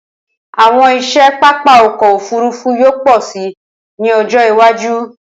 Awọn iṣẹ papa ọkọ ofurufu yoo pọ si ni ọjọ iwaju.